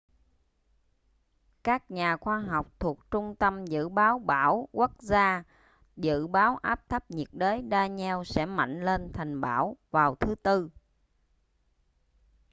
các nhà khoa học thuộc trung tâm dự báo bão quốc gia dự báo áp thấp nhiệt đới danielle sẽ mạnh lên thành bão vào thứ tư